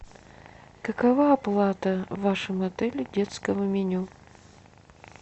какова оплата в вашем отеле детского меню